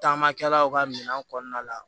Taama kɛlaw ka minɛn kɔnɔna la